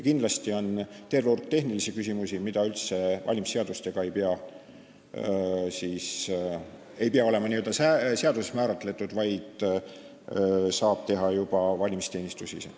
Kindlasti on terve hulk tehnilisi küsimusi, mis üldse ei pea olema seaduses kindlaks määratud, vaid mida saab lahendada juba valimisteenistus ise.